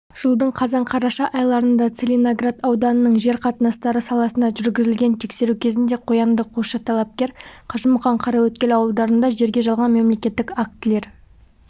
жылдың қазан-қараша айларында целиноград ауданының жер қатынастары саласына жүргізілген тексеру кезінде қоянды қосшы талапкер қажымұқан қараөткел ауылдарында жерге жалған мемлекеттік актілер